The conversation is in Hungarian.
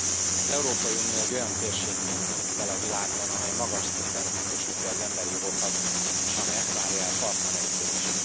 Elnök Úr! Az Európai Unió egy olyan térségként tűnik fel a világban, amely magas szinten biztosítja az emberi jogokat, és amely ezt várja el partnereitől is.